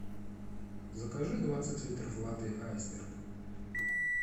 закажи двадцать литров воды айсберг